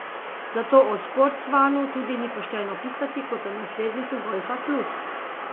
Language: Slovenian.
Zato o sportsvanu tudi ni pošteno pisati kot o nasledniku golfa plus.